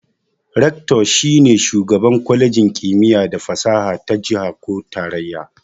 "Rector"shi ne shugaban kwalejin kimiyya da fasaha ta jiha ko tarayya.